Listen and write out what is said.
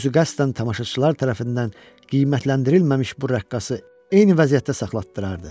Özü qəsdən tamaşaçılar tərəfindən qiymətləndirilməmiş bu rəqqası eyni vəziyyətdə saxlatdırardı.